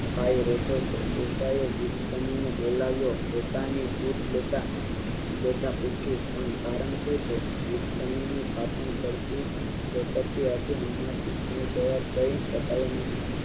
ભાઈ રોતો ને ડોસા તેમને બોલાવ્યો પોતાની પીઠ લેતા લેતા પૂછ્યું પણ કારણ શું છે રિક્ત ની ને પાંપણ પડતી એમાંથી જવાબ દઈ સકાય નહિ